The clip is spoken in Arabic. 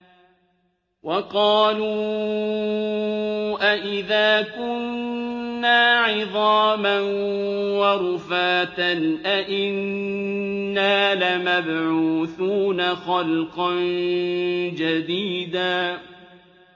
وَقَالُوا أَإِذَا كُنَّا عِظَامًا وَرُفَاتًا أَإِنَّا لَمَبْعُوثُونَ خَلْقًا جَدِيدًا